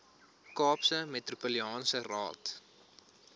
kaapse metropolitaanse raad